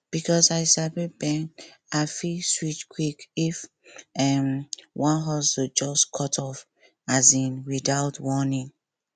because i sabi bend i fit switch quick if um one hustle just cut off um without warning